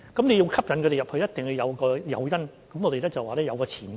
要吸引他們加入，一定要有誘因：我們說是有前景的。